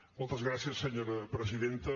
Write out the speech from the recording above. moltes gràcies senyora presidenta